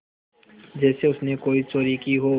जैसे उसने कोई चोरी की हो